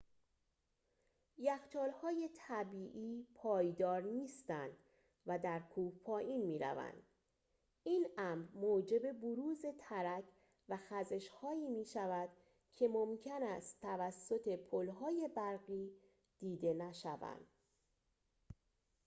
یخچال‌های طبیعی پایدار نیستند و در کوه پایین می‌روند این امر موجب بروز ترک و خزش‌هایی می‌شود که ممکن است توسط پل‌های برفی دیده نشوند